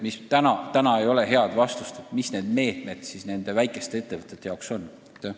Praegu veel ei ole head vastust, mis meetmed väikesi ettevõtteid aitavad.